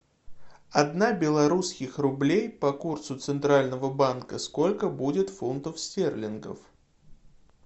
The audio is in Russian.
одна белорусских рублей по курсу центрального банка сколько будет фунтов стерлингов